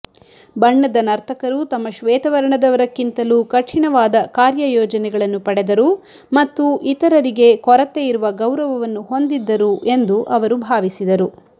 ಬಣ್ಣದ ನರ್ತಕರು ತಮ್ಮ ಶ್ವೇತವರ್ಣದವರಕ್ಕಿಂತಲೂ ಕಠಿಣವಾದ ಕಾರ್ಯಯೋಜನೆಗಳನ್ನು ಪಡೆದರು ಮತ್ತು ಇತರರಿಗೆ ಕೊರತೆಯಿರುವ ಗೌರವವನ್ನು ಹೊಂದಿದ್ದರು ಎಂದು ಅವರು ಭಾವಿಸಿದರು